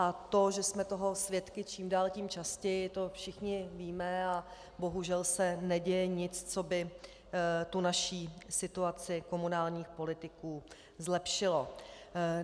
A to, že jsme toho svědky čím dál tím častěji, to všichni víme a bohužel se neděje nic, co by tu naši situaci komunálních politiků zlepšilo.